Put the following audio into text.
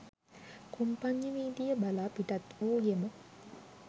කොම්පඤ්ඤවීදිය බලා පිටත්වූයෙමු